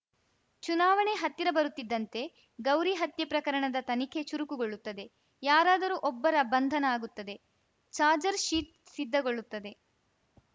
ಚುನಾವಣೆ ಹತ್ತಿರ ಬರುತ್ತಿದ್ದಂತೆ ಗೌರಿ ಹತ್ಯೆ ಪ್ರಕರಣದ ತನಿಖೆ ಚುರುಕುಗೊಳ್ಳುತ್ತದೆ ಯಾರಾದರೂ ಒಬ್ಬರ ಬಂಧನ ಆಗುತ್ತದೆ ಚಾರ್ಜರ್ ಶೀಟ್‌ ಸಿದ್ಧಗೊಳ್ಳುತ್ತದೆ